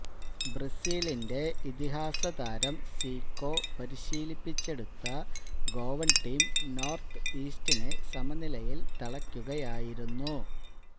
ബ്രസീലിന്റെ ഇതിഹാസ താരം സീക്കോ പരിശീലപ്പിച്ചെടുത്ത ഗോവന് ടീം നോര്ത്ത് ഈസ്റ്റിനെ സമനിലയില് തളക്കുകയായിരുന്നു